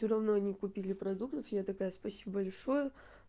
всё равно не купили продуктов я такая спасибо большое